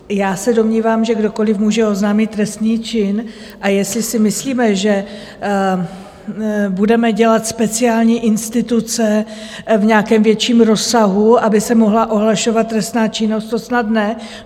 Já se domnívám, že kdokoliv může oznámit trestný čin, a jestli si myslíme, že budeme dělat speciální instituce v nějakém větším rozsahu, aby se mohla ohlašovat trestná činnost, to snad ne.